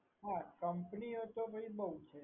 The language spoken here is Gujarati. હા company ઓ તો બહુ છે.